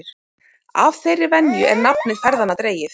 Af þeirri venju er nafn ferðanna dregið.